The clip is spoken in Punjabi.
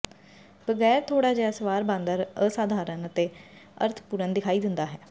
ਬਗੈਰ ਥੋੜਾ ਜਿਹਾ ਸਵਾਰ ਬਾਂਦਰ ਅਸਾਧਾਰਨ ਅਤੇ ਅਰਥਪੂਰਨ ਦਿਖਾਈ ਦਿੰਦਾ ਹੈ